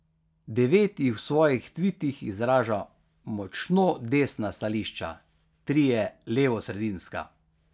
Devet jih v svojih tvitih izraža močno desna stališča, trije levosredinska.